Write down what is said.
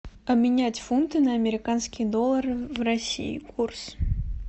обменять фунты на американские доллары в россии курс